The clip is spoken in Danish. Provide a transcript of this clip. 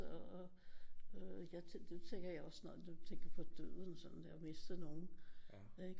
Og jeg det tænker også når jeg tænker på døden og sådan har misten nogen ikke